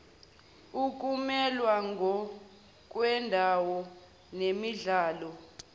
ukumelwa ngokwendawo nenhlalo